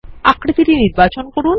আকৃতিটি নির্বাচন করুন